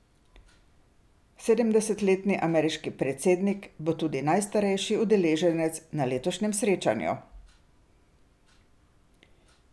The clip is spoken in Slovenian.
Sedemdesetletni ameriški predsednik bo tudi najstarejši udeleženec na letošnjem srečanju.